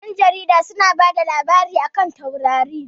Ƴan jarida su na kuma bada labarai a kan taurari